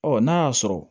Ɔ n'a y'a sɔrɔ